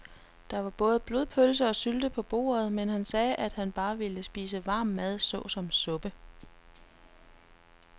Der var både blodpølse og sylte på bordet, men han sagde, at han bare ville spise varm mad såsom suppe.